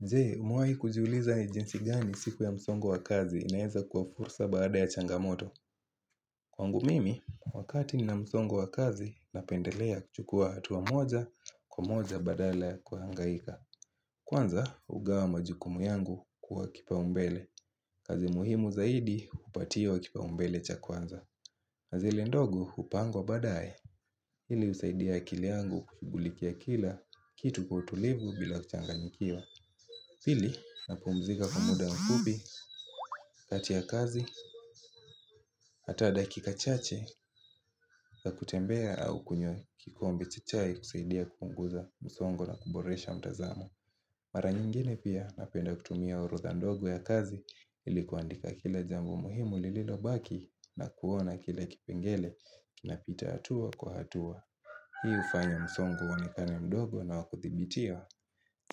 Je umewahi kujiuliza ni jinsi gani siku ya msongo wakazi inaeza kwa fursa baada ya changamoto Kwangu mimi wakati ninamsongo wakazi napendelea kuchukua hatua moja kwa moja badala ya kuhangaika Kwanza hugawa majukumu yangu kwa kipaumbele kazi muhimu zaidi hupatiwa kipaumbele cha kwanza Nazile ndogo hupangwa baadaye Hili husaidia akili yangu kushughulikia kila kitu kwa utulivu bila kuchanganyikiwa pili, napumzika kwa muda mfupi, kati ya kazi, hata dakika chache za kutembea au kunywa kikombe cha chai husaidia kupunguza msongo na kuboresha mtazamo. Mara nyingine pia napenda kutumia orodha ndogo ya kazi ili kuandika kila jambo muhimu lililobaki na kuona kila kipengele kinapita hatua kwa hatua. Hii hufanya msongo uonekane mdogo na wakuthibitia.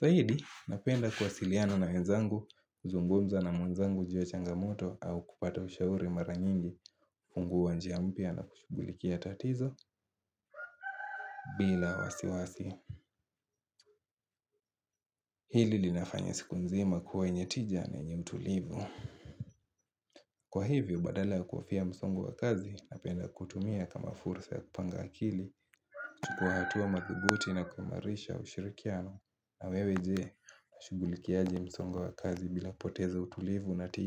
Zaidi, napenda kuwasiliana na wenzangu, kuzungumza na mwenzangu juu changamoto au kupata ushauri mara nyingi, hufungua njia mpya na kushugulikia tatizo bila wasiwasi. Hili linafanya siku nzima kuwa yenye tija na yenye utulivu. Kwa hivyo, badala ya kuhofia msongo wa kazi, napenda kutumia kama fursa ya kupanga akili, kuchukua hatua madhubuti na kuimarisha ushirikiano. Na wewe je, washugulikiaje msongo wa kazi bila poteza utulivu na tija.